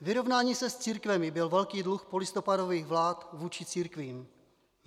Vyrovnání se s církvemi byl velký dluh polistopadových vlád vůči církvím.